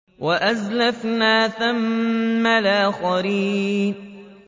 وَأَزْلَفْنَا ثَمَّ الْآخَرِينَ